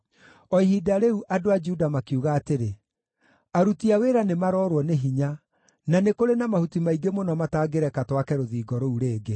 O ihinda rĩu, andũ a Juda makiuga atĩrĩ, “Aruti a wĩra nĩmaroorwo nĩ hinya, na nĩ kũrĩ na mahuti maingĩ mũno matangĩreka twake rũthingo rũu rĩngĩ.”